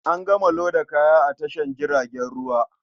An gama loda kayan a tashar jiragen ruwa.